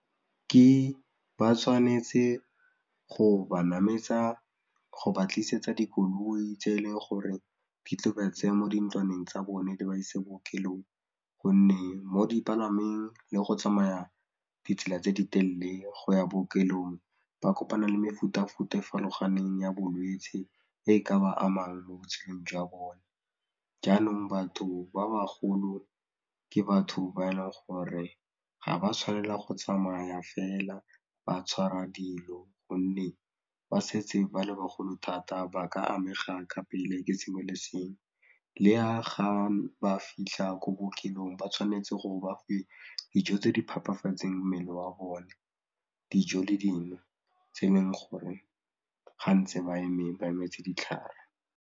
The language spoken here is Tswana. Ke ba tshwanetse go ba mametsa go ba tlisetsa dikoloi tse e leng gore di tlile go ba tseya mo dintlwaneng tsa bone di ba ise bookelong gonne mo dipalameng le go tsamaya ditsela tse di telle go ya bookelong ba kopana le mefutafuta e farologaneng ya bolwetse e ka ba amang mo botshelong jwa bone, jaanong batho ba bagolo ke batho ba e leng gore ga ba tshwanela go tsamaya fela ba tshwara dilo gonne ba setse ba le bagolo thata ba ka amega ka pele ke sengwe le sengwe, le ya ga ba fitlha ko bookelong ba tshwanetse gore ba fiwe dijo tse di phepafatseng mmele wa bone, dijo le dino tse e leng gore ga ntse ba eme ba emetse ditlhare.